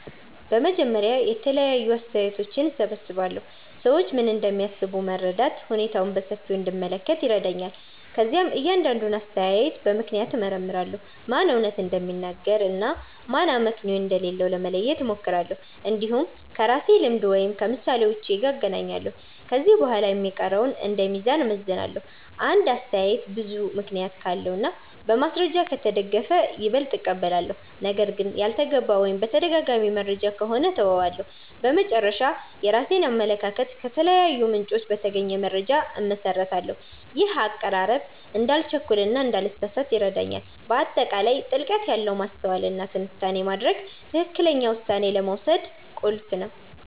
በመጀመሪያ የተለያዩ አስተያየቶችን እሰብስባለሁ። ሰዎች ምን እንደሚያስቡ መረዳት ሁኔታውን በሰፊው እንድመለከት ይረዳኛል። ከዚያም እያንዳንዱን አስተያየት በምክንያት እመርምራለሁ፤ ማን እውነት እንደሚናገር እና ማን አመክንዮ እንደሌለው ለመለየት እሞክራለሁ። እንዲሁም ከራሴ ልምድ ወይም ከምሳሌዎች ጋር እናገናኛለሁ። ከዚህ በኋላ የሚቀረውን እንደ ሚዛን እመዝናለሁ። አንድ አስተያየት ብዙ ምክንያት ካለው እና በማስረጃ ከተደገፈ ይበልጥ እቀበላለሁ። ነገር ግን ያልተገባ ወይም የተደጋጋሚ መረጃ ከሆነ እተወዋለሁ። በመጨረሻ፣ የራሴን አመለካከት ከተለያዩ ምንጮች በተገኘ መረጃ እመሰርታለሁ። ይህ አቀራረብ እንዳልቸኩል እና እንዳልተሳሳት ይረዳኛል። በአጠቃላይ ጥልቀት ያለ ማስተዋል እና ትንታኔ ማድረግ ትክክለኛ ውሳኔ ለመውሰድ ቁልፍ ነው